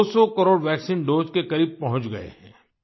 हम 200 crore vaccine dose के करीब पहुँच गए हैं